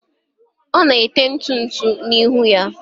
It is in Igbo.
ọ na-ete ntụ ntụ n'ihu ya